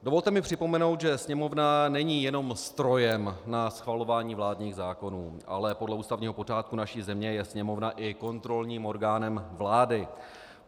Dovolte mi připomenout, že Sněmovna není jenom strojem na schvalování vládních zákonů, ale podle ústavního pořádku naší země je Sněmovna i kontrolním orgánem vlády.